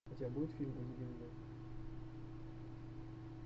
у тебя будет фильм